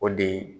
O de ye